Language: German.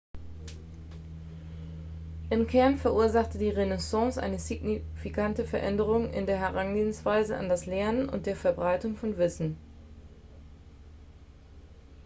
im kern verursachte die renaissance eine signifikante veränderung in der herangehensweise an das lernen und der verbreitung von wissen